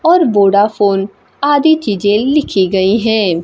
और वोडाफोन आदि चीजें लिखी गई हैं।